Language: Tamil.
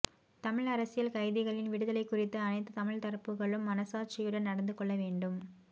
தமிழ் அரசியல் கைதிகளின் விடுதலை குறித்து அனைத்து தமிழ் தரப்புக்களும் மனச்சாட்சியுடன் நடந்து கொள்ள வேண்டும்